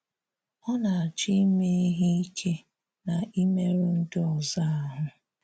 Ọ na-achọ̀ ime ihè ikè na imerụ̀ ndị̀ ọzọ ahụ́.